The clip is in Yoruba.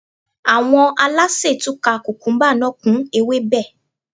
Àwọn alásè tún ka kùkúmúbá náà kún ewébẹ̀